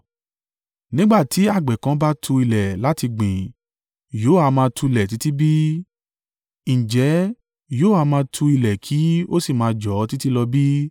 Nígbà tí àgbẹ̀ kan bá tu ilẹ̀ láti gbìn yóò ha máa tulẹ̀ títí bi? Ǹjẹ́ yóò ha máa tu ilẹ̀ kí ó sì máa jọ̀ ọ́ títí lọ bí?